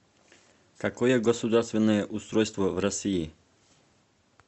какое государственное устройство в россии